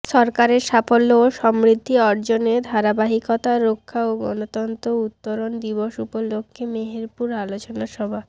সরকারের সাফল্য ও সমৃদ্ধি অর্জনের ধারাবাহিকতা রক্ষা ও গনতন্ত্র উত্তরন দিবস উপলক্ষে মেহেরপুরে আলোচনা সভা